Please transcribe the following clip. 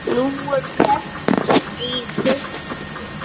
Nú, er keppt í þessu?